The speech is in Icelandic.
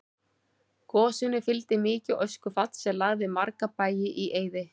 Gosinu fylgdi mikið öskufall sem lagði marga bæi í eyði.